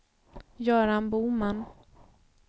Göran Boman